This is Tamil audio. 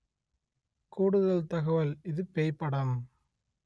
கூடுதல் தகவல் இது பேய் படம்